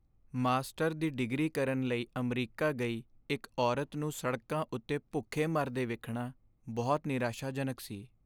Master ਦੀ degree ਕਰਨ ਲਈ ਅਮਰੀਕਾ ਗਈ ਇੱਕ ਔਰਤ ਨੂੰ ਸੜਕਾਂ ਉੱਤੇ ਭੁੱਖੇ ਮਰਦੇ ਵੇਖਣਾ ਬਹੁਤ ਨਿਰਾਸ਼ਾਜਨਕ ਸੀ।